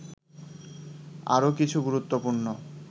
আরও কিছু গুরুত্বপূর্ণ